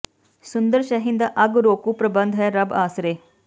ਸੁੰਦਰ ਸ਼ਹਿਰ ਦਾ ਅੱਗ ਰੋਕੂ ਪ੍ਰਬੰਧ ਹੈ ਰੱਬ ਆਸਰੇ